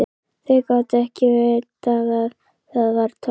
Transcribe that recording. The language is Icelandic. Þau gátu ekki vitað að það var tómt.